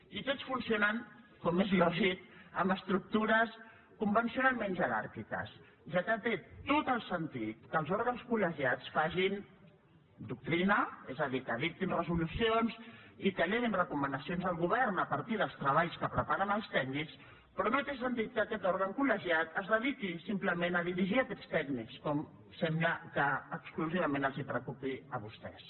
i tots funcionant com és lògic amb estructures convencionalment jeràrquiques ja que té tot el sentit que els òrgans col·legiats facin doctrina és a dir que dictin resolucions i que elevin recomanacions al govern a partir dels treballs que preparen els tècnics però no té sentit que aquest òrgan col·legiat es dediqui simplement a dirigir aquests tècnics com sembla que exclusivament els preocupi a vostès